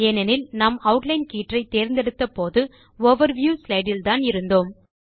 ஏனெனில் நாம் ஆட்லைன் கீற்றை தேர்ந்தெடுத்த போது ஓவர்வியூ ஸ்லைடு இல்தான் இருந்தோம்